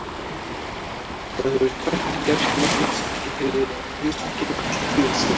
Þá hefur tvennt gerst merkilegt sem tilheyrir heimspekinni alla tíð síðan.